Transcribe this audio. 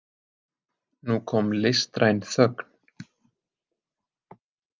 Nú kom listræn þögn.